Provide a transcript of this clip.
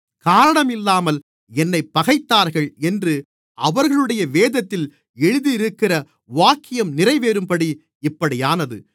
காரணம் இல்லாமல் என்னைப் பகைத்தார்கள் என்று அவர்களுடைய வேதத்தில் எழுதி இருக்கிற வாக்கியம் நிறைவேறும்படி இப்படியானது